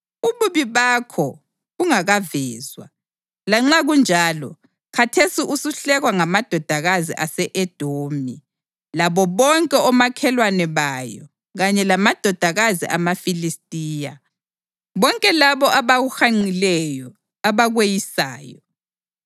ububi bakho bungakavezwa. Lanxa kunjalo, khathesi usuhlekwa ngamadodakazi ase-Edomi labo bonke omakhelwane bayo kanye lamadodakazi amaFilistiya, bonke labo abakuhanqileyo abakweyisayo.